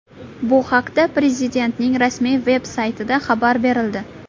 Bu haqda Prezidentning rasmiy-veb saytida xabar berildi.